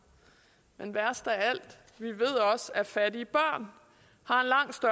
men værst af alt vi ved også at fattige børn